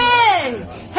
Hey!